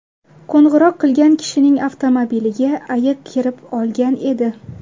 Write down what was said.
Qo‘ng‘iroq qilgan kishining avtomobiliga ayiq kirib olgan edi.